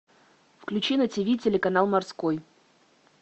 включи на тв телеканал морской